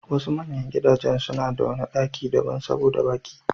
Wasu manyan gidajen suna da wani ɗaki b'na daban saboda baƙi.